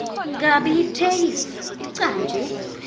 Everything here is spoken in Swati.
kabi itheksthi icanjwe